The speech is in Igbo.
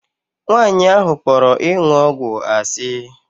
Nwaanyị ahụ kpọrọ ịṅụ ọgwụ asị.